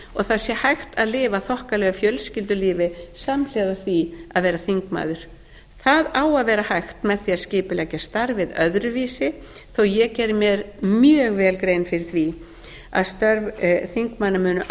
og hægt sé að lifa þokkalegu fjölskyldulífi samhliða því að vera þingmaður það á að vera hægt með því að skipuleggja starfið öðruvísi þó ég geri mér mjög vel grein fyrir því að störf þingmanna munu